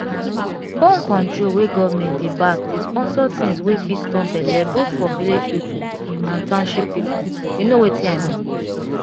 born-control wey government dey back dey sponsor things wey fit stop belle both for village people and township peopleyou know wetin i mean.